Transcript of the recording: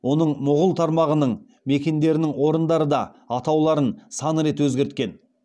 оның мұғул тармағының мекендерінің орындары да атауларын сан рет өзгерткен